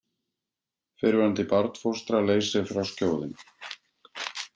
Fyrrverandi barnfóstra leysir frá skjóðunni